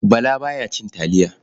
Bala ba ya cin taliya.